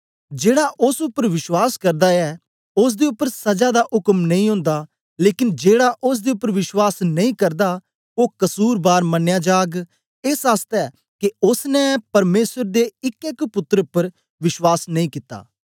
जेड़ा ओस उपर विश्वास करदा ऐ ओसदे उपर सजा दा उक्म नेई ओन्दा लेकन जेड़ा ओसदे उपर विश्वास नेई करदा ओ कसुरबार मनया जाग एस आसतै के ओसने परमेसर दे इकै एक पुत्तर उपर विश्वास नेई कित्ता